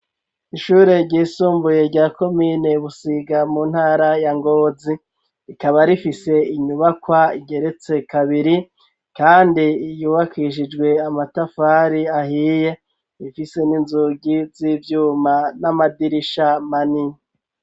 Ishure ryisumbuye rya komine busiga mu ntara ya ngozi rikaba rifise inyubakwa igeretse kabiri kandi yubakishijwe amatafari ahiye bifise n'inzugi z'ivyuma n'amadirisha manini.